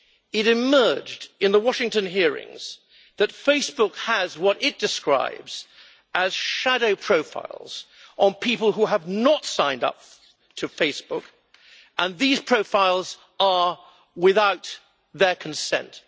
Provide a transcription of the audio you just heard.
It emerged in the Washington hearings that Facebook has what it describes as shadow profiles' on people who have not signed up to Facebook, and these profiles are without their consent.